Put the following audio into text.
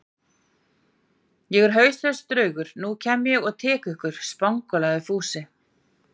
Ég er hauslaus draugur, nú kem ég og tek ykkur spangólaði Fúsi.